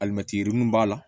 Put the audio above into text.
Alimɛti yirini b'a la